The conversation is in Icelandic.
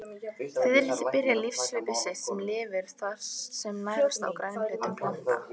Fiðrildi byrja lífshlaup sitt sem lirfur sem nærast á grænum hlutum plantna.